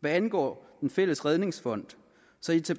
hvad angår den fælles redningsfond